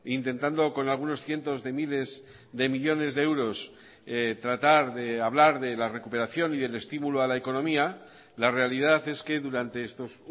intentando con algunos cientos de miles de millónes de euros tratar de hablar de la recuperación y del estímulo a la economía la realidad es que durante estos